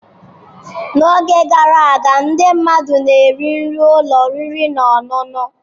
N'oge gara aga, ndị mmadụ na-eri nri ụlọ oriri na ọṅụṅụ.